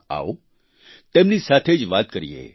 આવો તેમની સાથે જ વાત કરીએ